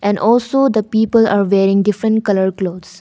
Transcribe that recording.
and also the people are wearing different colour clothes.